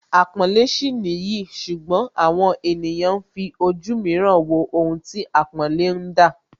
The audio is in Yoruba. Àpọ́nlé sì nìyí ṣùgbọ́n àwọn ènìyàn ń fi ojú mìíràn wo ohun tí àpọ́nlé ń dá